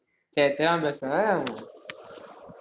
சரி தெரியாம பேசிட்டே